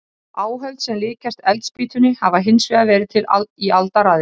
Áhöld sem líkjast eldspýtunni hafa hins vegar verið til í aldaraðir.